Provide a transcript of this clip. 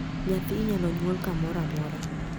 nyathi inyalo Nyuol kamoro amora